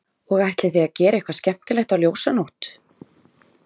Og ætlið þið að gera eitthvað skemmtilegt á Ljósanótt?